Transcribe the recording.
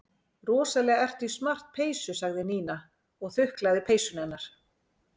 Rosalega ertu í smart peysu sagði Nína og þuklaði peysuna hennar.